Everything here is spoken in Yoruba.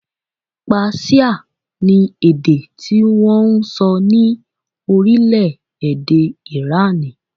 Páṣíà ni èdè tí wọn ń sọ ní orílẹ̀-èdè Ìránì